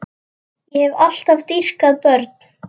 Ég hef alltaf dýrkað börn.